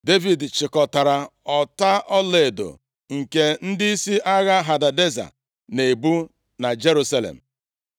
Devid chịkọtara ọta ọlaedo nke ndịisi agha Hadadeza na-ebu na Jerusalem.